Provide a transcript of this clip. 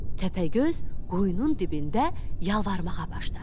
Təpəgöz quyunun dibində yalvarmağa başladı.